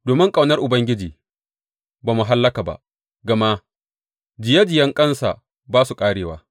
Domin ƙaunar Ubangiji ba mu hallaka ba; gama jiyejiyanƙansa ba su ƙarewa.